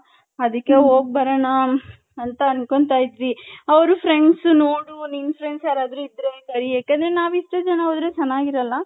ಅದಿಕ್ಕೆ ಹೋಗ್ ಬರಣ .ಅಂತ ಅನ್ಕೊಂಡ್ತೈದ್ವಿ ಅವರ್ friends ನೋಡು ನಿನ್ friends ಯಾರನ ಇದ್ರೆ ಯಾಕಂದ್ರೆ ನಾವ್ ಇಷ್ಟೇ ಜನ ಹೋದ್ರೆ ಚೆನ್ನಾಗಿರಲ್ಲ .